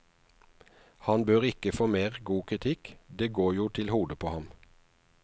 Han bør ikke få mer god kritikk, det går jo til hodet på ham.